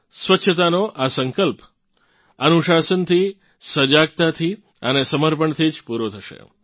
સ્વચ્છતાનો આ સંકલ્પ અનુશાસનથી સજાગતાથી અને સમર્પણથી જ પૂરો થશે